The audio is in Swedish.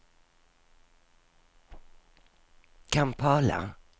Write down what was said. Kampala